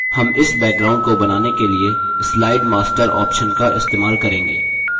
हम इस background को बनाने के लिए slide master option का इस्तेमाल करेंगे